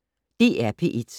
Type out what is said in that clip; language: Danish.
DR P1